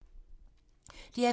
DR P2